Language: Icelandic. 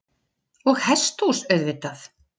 Og hesthús auðvitað.